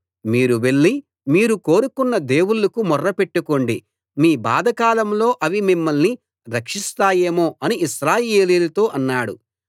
మీరు వెళ్లి మీరు కోరుకొన్న దేవుళ్ళకు మొర్ర పెట్టుకోండి మీ బాధకాలంలో అవి మిమ్మల్ని రక్షిస్తాయేమో అని ఇశ్రాయేలీయులతో అన్నాడు